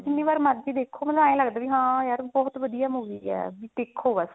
ਜਿੰਨੀ ਵਾਰ ਮਰਜ਼ੀ ਦੇਖੋ ਮਤਲਬ ਏਵੇਂ ਲੱਗਦਾ ਵੀ ਹਾਂ ਯਾਰ ਬਹੁਤ ਵਧੀਆ movie ਹੈ